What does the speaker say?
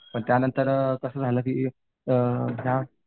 पण त्यांनतर कसं झालं ते अ ह्या